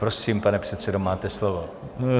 Prosím, pane předsedo, máte slovo.